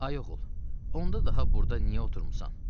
Ay oğul, onda daha burda niyə oturmusan?